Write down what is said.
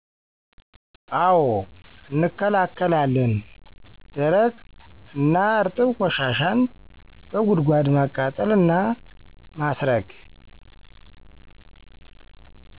አዉ እንከላከላለን ደረቅ እና እረጥብ ቆሻሻን በጉድጓድ ማቃጠል እና ማስረግ